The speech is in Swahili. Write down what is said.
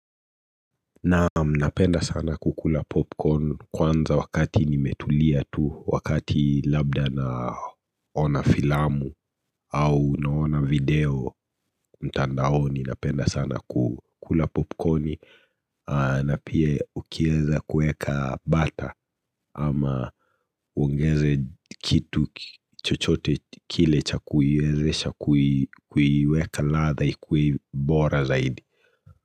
Na napenda sana kukula popcorn kwanza wakati nimetulia tu wakati labda naona filamu au naona video mtandaoni napenda sana kukula popcorni na pia ukieza kueka butter ama uongeze kitu chochote kile cha kuiwezesha kuiweka ladha ikuwe bora zaidi.